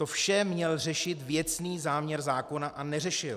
To vše měl řešit věcný záměr zákona, a neřešil.